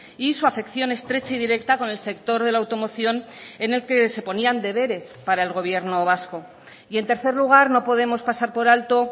y su afección estrecha y directa con el sector de la automoción en el que se ponían deberes para el gobierno vasco y en tercer lugar no podemos pasar por alto